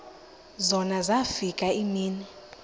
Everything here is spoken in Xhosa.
zona zafika iimini